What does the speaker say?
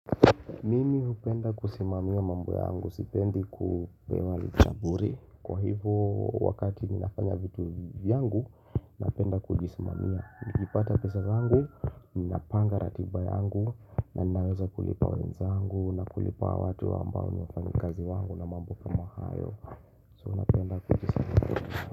Mimi upenda kusimamia mambo yangu, sipendi kupewa likaburi Kwa hivyo wakati ninafanya vitu vyangu, napenda kujisimamia Nikipata pesa zangu, minapanga ratiba yangu na ninaweza kulipa wenzangu na kulipa watu ambao nifanikazi wangu na mambo kama hayo So napenda kujisimamia.